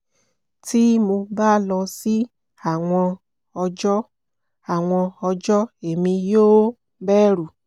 ti mo ba lọ si awọn ọjọ awọn ọjọ emi yoo bẹru